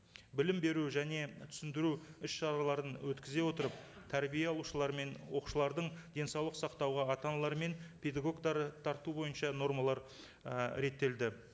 білім беру және түсіндіру іс шараларын өткізе отырып тәрбие алушылар мен оқушылардың денсаулық сақтауға ата аналар мен педагогтары тарту бойынша нормалар і реттелді